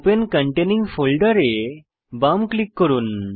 open containing ফোল্ডের এ বাম ক্লিক করুন